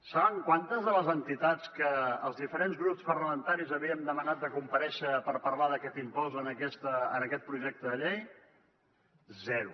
saben quantes de les entitats que els diferents grups parlamentaris havíem demanat de comparèixer per parlar d’aquest impost en aquest projecte de llei zero